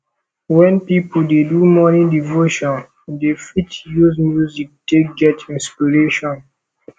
when pipo dey do morning devotion dem fit use music take get inspiration